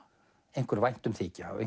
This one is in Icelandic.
einhver væntumþykja og